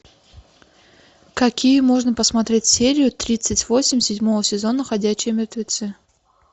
какие можно посмотреть серию тридцать восемь седьмого сезона ходячие мертвецы